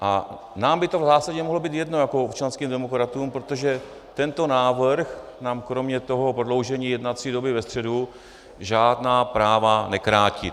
A nám by to v zásadě mohlo být jedno jako občanským demokratům, protože tento návrh nám kromě toho prodloužení jednací doby ve středu žádná práva nekrátí.